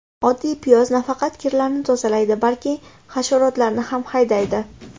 Oddiy piyoz nafaqat kirlarni tozalaydi, balki hasharotlarni ham haydaydi.